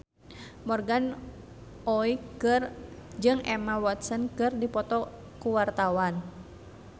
Morgan Oey jeung Emma Watson keur dipoto ku wartawan